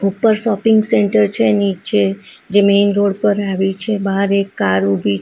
ઉપર shopping centre છે નીચે જે મેઇન રોડ પર આવ્યું છે બહાર એક કાર ઊભી છે --